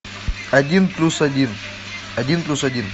один плюс один один плюс один